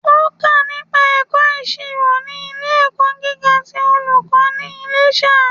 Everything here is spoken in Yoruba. Ó kà nípa ẹ̀kọ́ ìsirò ní ilé ẹ̀kọ́ gíga ti olùkó ní Iléṣà